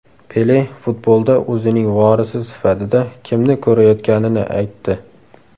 Pele futbolda o‘zining vorisi sifatida kimni ko‘rayotganini aytdi.